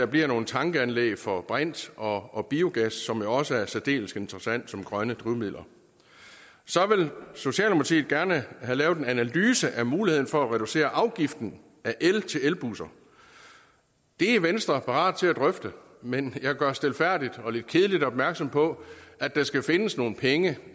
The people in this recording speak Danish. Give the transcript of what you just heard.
bliver nogle tankanlæg for brint og og biogas som jo også er særdeles interessante som grønne drivmidler så vil socialdemokratiet gerne have lavet en analyse af muligheden for at reducere afgiften af el til elbusser det er venstre parat til at drøfte men jeg gør stilfærdigt og lidt kedeligt opmærksom på at der skal findes nogle penge